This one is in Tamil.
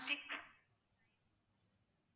six